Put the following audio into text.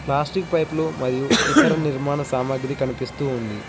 Plastic పైపులు మరియు ఇతర నిర్మాణ సామాగ్రి కనిపిస్తూ ఉంది.